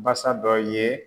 Basa dɔ ye